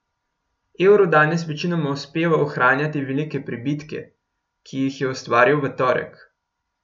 Evru danes večinoma uspeva ohranjati velike pribitke, ki jih je ustvaril v torek.